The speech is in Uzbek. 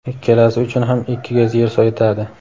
ikkalasi uchun ham ikki gaz yer yetadi.